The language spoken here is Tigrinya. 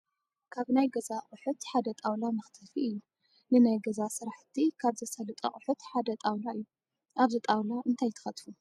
ካብ ናይ ገዛ ኣቑሑት ሓደ ጣውላ መኽተፊ እዩ፡፡ ንናይ ገዛ ስራሕቲ ካብ ዘሳልጡ ኣቑሑት ሓደ ጣውላ እዩ፡፡ ኣብዚ ጣውላ እንታይ ትኸትፉ?